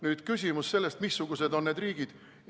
Nüüd küsimus, missugused need riigid on.